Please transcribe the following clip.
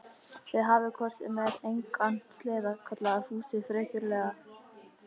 Þið hafið hvort sem er engan sleða, kallaði Fúsi frekjulega.